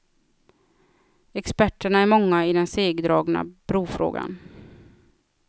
Experterna är många i den segdragna brofrågan.